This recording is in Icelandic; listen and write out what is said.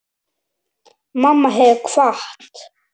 Mamma hefur kvatt.